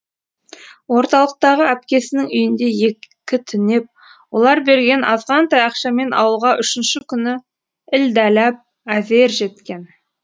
орталықтағы әпкесінің үйінде екі түнеп олар берген азғантай ақшамен ауылға үшінші күні ілдәләп әзер жеткен